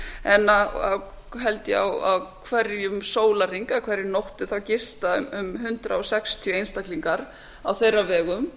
en held ég á hverjum sólarhring eða hverri nóttu gista um hundrað sextíu einstaklingar á þeirra vegum